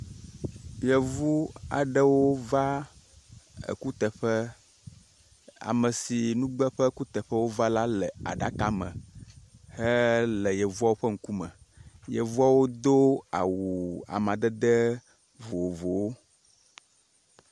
Yevu aɖewo va kuteƒe. Ameyi si ƒe nugbe ƒe kuteƒe wova la le aɖaka me le ye hele yevua ƒe ŋkume. Yevuawo do awu amadede vovowo.